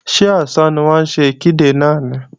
Ṣé ọ̀sán ni wọ́n ń ṣe ìkéde náà ni?